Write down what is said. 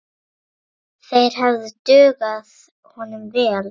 Þeir hefðu dugað honum vel.